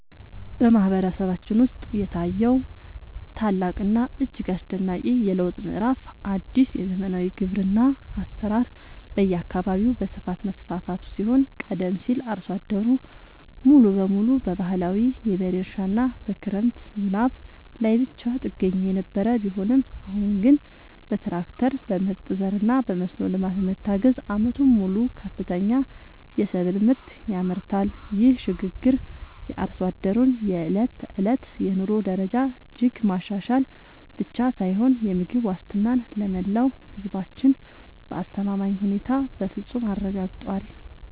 በማህበረሰባችን ውስጥ የታየው ታላቅና እጅግ አስደናቂ የለውጥ ምዕራፍ አዲስ የዘመናዊ ግብርና አሰራር በየአካባቢው በስፋት መስፋፋቱ ሲሆን ቀደም ሲል አርሶ አደሩ ሙሉ በሙሉ በባህላዊ የበሬ እርሻና በክረምት ዝናብ ላይ ብቻ ጥገኛ የነበረ ቢሆንም አሁን ግን በትራክተር፣ በምርጥ ዘርና በመስኖ ልማት በመታገዝ ዓመቱን ሙሉ ከፍተኛ የሰብል ምርት ያመርታል። ይህ ሽግግር የአርሶ አደሩን የዕለት ተዕለት የኑሮ ደረጃ እጅግ ማሻሻል ብቻ ሳይሆን የምግብ ዋስትናን ለመላው ህዝባችን በአስተማማኝ ሁኔታ በፍፁም አረጋግጧል።